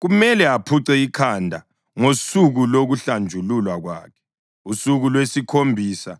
kumele aphuce ikhanda ngosuku lokuhlanjululwa kwakhe, usuku lwesikhombisa.